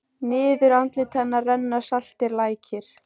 Niður andlit hennar renna saltir lækir.